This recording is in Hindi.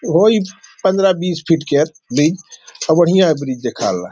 होई पंधरा बीस फीट केयर बी और बढियाँ ब्रिज निकाल रहा।